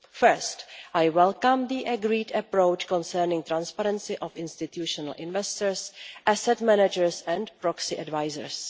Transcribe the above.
First, I welcome the agreed approach concerning transparency of institutional investors, asset managers and proxy advisers.